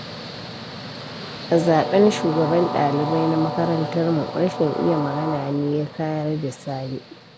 A zaɓen shugaban ɗalibai na makarantarmu, rashin iya magana ne ya kayar da Sani.